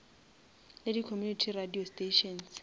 le di community radio stations